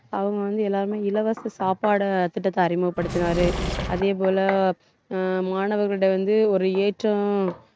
அவங்க வந்து எல்லாருமே இலவச சாப்பாடு திட்டத்தை அறிமுகப்படுத்தினாரு அதே போல ஆஹ் மாணவர்கள்கிட்ட வந்து, ஒரு ஏற்றம்